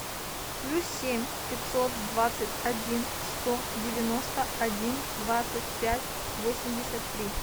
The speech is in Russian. плюс семь пятьсот двадцать один сто девяносто один двадцать пять восемьдесят три